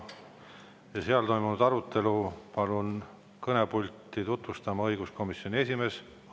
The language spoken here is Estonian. Ja seal toimunud arutelu palun kõnepulti tutvustama õiguskomisjoni esimehe.